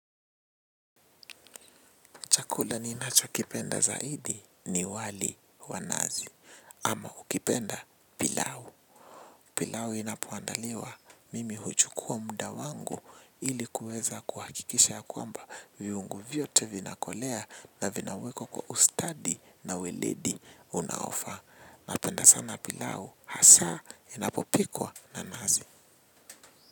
Chakula ninacho kipenda zaidi ni wali wa nazi ama ukipenda pilau. Pilau inapoandaliwa mimi huchukua muda wangu ili kuweza kuhakikisha ya kwamba viungo vyote vinakolea na vinawekwa kwa ustadi na ueledi unaofaa. Napenda sana pilau hasa inapopikwa na nazi.